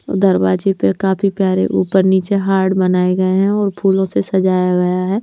और दरवाजे पे काफी प्यारे ऊपर नीचे हार्ड बनाए गए हैं और फूलों से सजाया गया है।